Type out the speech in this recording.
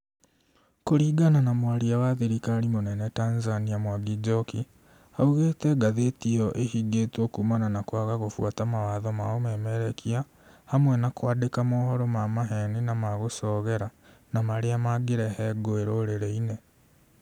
Kũringana na mwaria wa thirikari mũnene Tanzania Mwangi Njoki, augĩte ngathĩti ĩyo ĩhingĩtwo kumana na kwaga gũbuata mawatho ma ũmemerekia hamwe na kwandĩka mohoro ma maheni na magũcogera na marĩa mangĩrehe nguĩ rũrĩrĩinĩ